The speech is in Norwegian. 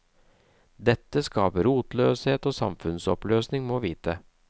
Dette skaper rotløshet og samfunnsoppløsning, må vite.